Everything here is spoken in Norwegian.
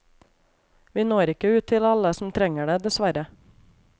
Vi når ikke ut til alle som trenger det, dessverre.